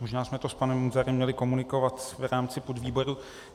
Možná jsme to s panem Munzarem měli komunikovat v rámci podvýboru.